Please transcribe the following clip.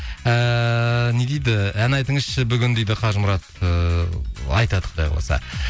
ііі не дейді ән айтыңызшы бүгін дейді қажымұрат ыыы айтады құдай қаласа